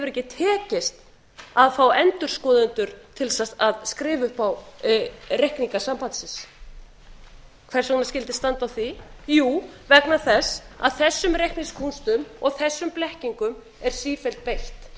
ekki tekist að fá endurskoðendur til þess að skrifa upp á reikninga sambandsins hvernig skyldi standa á því jú vegna þess að þessum reikningskúnstum og þessum blekkingum er sífellt beitt